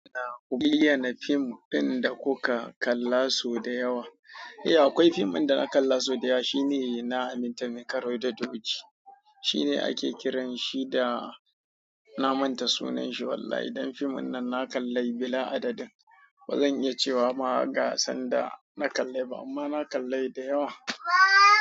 Ku bayyana fim fim da kuka kalla so da yawa? Eh akwai fim da na kalla so da yawa. Shi ne na Aminta Mai kare da doki. Shi ne ake kiran shi da na manta sunan shi. Wallahi dan fim nan na kalli bila adadin. Ba zan iya cewa ma gasan da na kalla ba, amma na kalla yi da yawa.